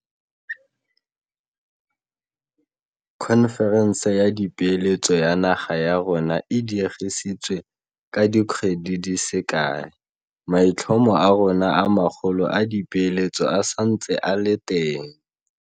Khonferense ya Dipeeletso ya naga ya rona e diegisitswe ka di kgwedi di se kae, maitlhomo a rona a magolo a dipeeletso a santse a le teng.